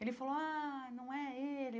Ele falou, ah, não é ele.